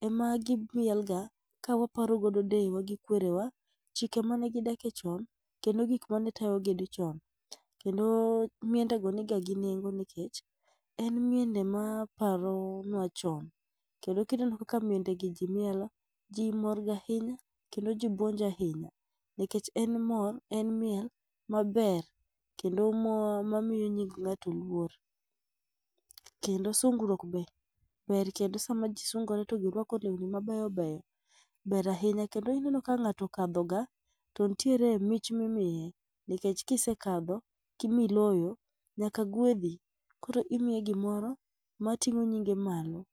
ema gimielo ka waparo godo deyewa gi kwerewa chike mane gidakie chon kendo gik mane tayi ji chon. Kendo miendego ne niga gi nengo nikech en miende maparonua chon. Kendo ka ineno kaka miende gi ji mielo, ji mor ga ahinya kendo ji buonjo ahinya nikech en mor, en miel maber kendo moro mamiyo nying ng'ato luor . Kendo sungruok be ber kendo sama ji sungore to girwako lewni ma beyo beyo ber ahinya kendo ineno ka ng'ato okadhoga, to nitiere mich ma imiye nikech ka isekadho ma iloyo to nyaka gwedhi, koro imiyi gimoro mating'o nyingi malo.